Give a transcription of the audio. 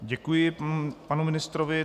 Děkuji panu ministrovi.